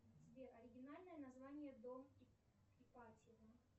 сбер оригинальное название дом ипатьева